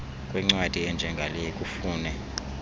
kwencwadi enjengale kufune